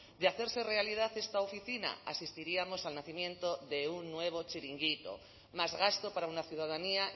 de hacerse realidad esta oficina asistiríamos al nacimiento de un nuevo chiringuito más gasto para una ciudadanía